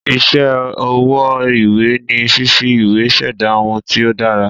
Ìsé ọwọ́ ìwé ni fífi ìwé ṣẹ̀dá ohun tí o dára